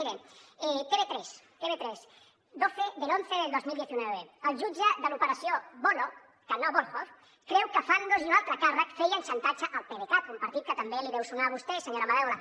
miren tv3 doce del once del dos mil diecinueve el jutge de l’operació voloh que no volhov creu que fandos i un altre càrrec feien xantatge al pdecat un partit que també li deu sonar a vostè senyora madaula